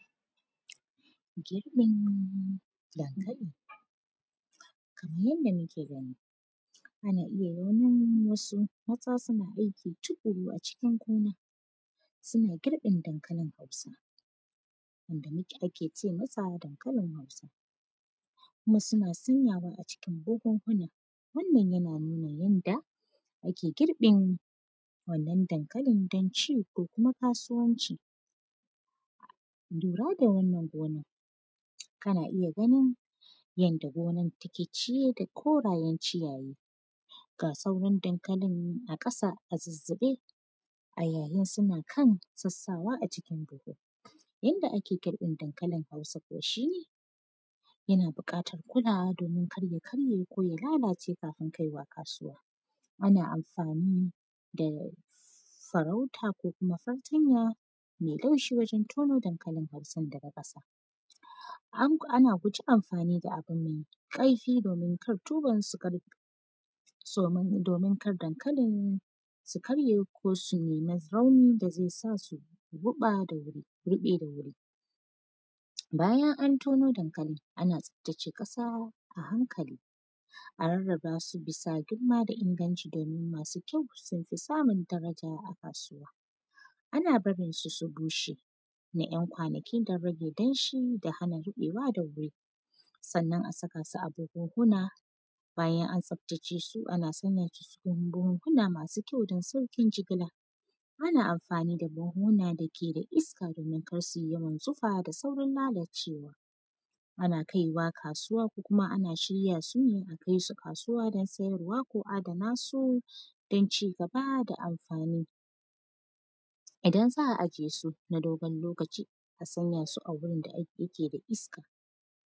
Girƃin dankali. Kamar yanda muke gani, ana iya ganin wasu mata suna aiki tuƙuru a cikin gona, suna girƃin dankalin Hausa. Wanda mu; ake ce masa dankalin Hausa kuma suna sanyawa a cikin buhunhuna. Wannan, yana nuna yanda, ake girƃin wannan dankalin don ci ko kuma kasuwanci. Lura da wannan gonan, kana iya ganin yanda gonan take ciye da korayen ciyaye, ga sauran dankalin a ƙasa a zizzibe, a yayin suna kan sassawa a cikin buhu. Yanda ake girƃin dankalin Hausa kuwa, shi ne, yana buƙatar kulawa domin kar ya karye k ya lalace kafin kai wa kasuwa. Ana amfanu da sarauta ko kuma fartanya me laushi wajen tono dankalin Hausan daga ƙasa. Ank, ana guji amfani da abu mai ƙaifi domin kar tuban su kar, somin; domin kar dankalin su karye ko su nima rauni da ze sa su ruƃa da wuri; ruƃe da wuri. Bayan an tono dankali, ana tsaftace ƙasa a hankali, a rarraba su bisa girma da inganci domin masu kyau, sun fi samun daraja a kasuwa. Ana barin su su bushe na ‘yan kwanaki don rage danshi da hana ruƃewa da wuri. Sannan, a saka su a buhunhuna, bayan an tsaftace su, ana sanya su cikin buhunhuna masu kyau don sauƙin jigila. Ana amfani da buhunhuna dake da iska, domin kar si yawan zufa da saurin lalacewa. Ana kai wa kasuwa ko kuma ana shirya su ne a kais u kasuwa don sayarwa ko adana su don ci gaba da amfani. Idan za a ajiye sun a dogon lokaci, a sanya su a gurin da ak; yake da iska.